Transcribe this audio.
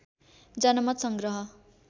जनमत सङ्ग्रह